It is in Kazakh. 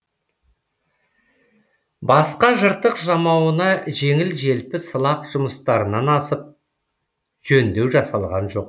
басқа жыртық жамауына жеңіл желпі сылақ жұмыстарынан асып жөндеу жасалған жоқ